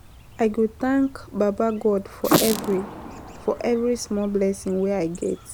I go thank baba God for every small blessing wey I get.